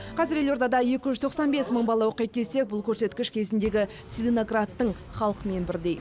қазір елордада екі жүз тоқсан бес мың бала оқиды десек бұл көрсеткіш кезіндегі целиноградтың халқымен бірдей